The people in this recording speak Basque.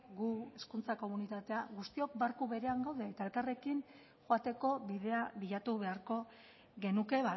gu hezkuntza komunitatea guztiok barku berean gaude eta elkarrekin joateko bidea bilatu beharko genuke